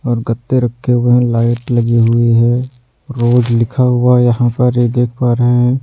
और गत्ते रखे हुए हैं लाइट लगी हुई है रोज लिखा हुआ है यहां पर ये देख पा रहे हैं।